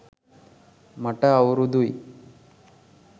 මට අවුරුදු යි